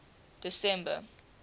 december